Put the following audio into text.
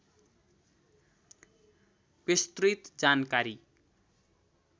विस्तृत जानकारी